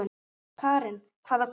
Karen: hvaða guði?